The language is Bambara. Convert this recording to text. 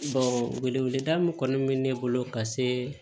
wele da min kɔni bɛ ne bolo ka se